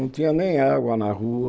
Não tinha nem água na rua.